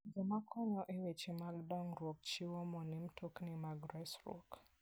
Joma konyo e weche mag dongruok chiwo mo ne mtokni mag resruok.